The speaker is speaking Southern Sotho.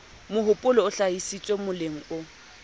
mohopolo o hlahisitsweng moleng o